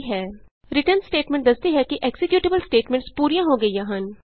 return statement ਦੱਸਦੀ ਹੈ ਕਿ ਐਕਜ਼ੀਕਯੂਟੇਬਲ ਸਟੇਟਮੈਂਟਸ ਪੂਰੀਆਂ ਹੋ ਗਈਆਂ ਹਨ